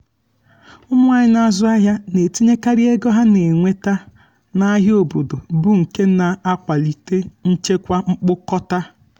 ụmụ nwanyị na-azụ ahịa na-etinyekarị ego ha na-enweta n'ahịa obodo bụ nke na-akwalite nchekwa mkpokọta